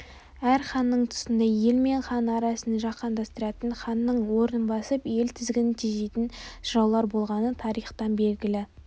әр ханның тұсында ел мен хан арасын жақындастыратын ханның арынын басып ел тізгінін тежейтін жыраулар болғаны тарихтан белгілі